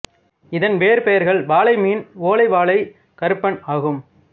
இதன் வேறு பெயர்கள் வாளை மீன் ஓலை வாளை கறுப்பன் ஆகும்